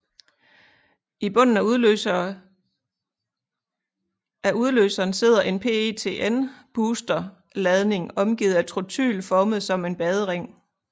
I bunden af udløseren sidder en PETN booster ladning omgivet af trotyl formet som en badering